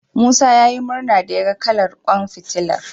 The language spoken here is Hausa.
Musa ya yi murna da yaga kalar ƙwan fitilar.